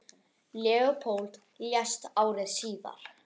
Leópold lést ári síðar.